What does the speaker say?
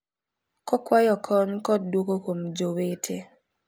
Kokwayo kony kod dwoko kuom jowete